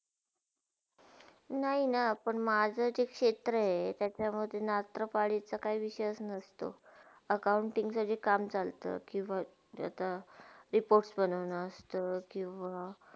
नय ना पण माझा ते क्षेत्र हे त्याच्यामधून रात्रपालीचा काही विषय नसतो. accounting चा जे काम चालतो किव आता reports बनोना असतो.